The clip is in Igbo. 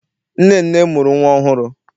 Nnenne mụrụ nnwa ọhụrụ.